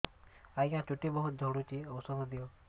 ଆଜ୍ଞା ଚୁଟି ବହୁତ୍ ଝଡୁଚି ଔଷଧ ଦିଅ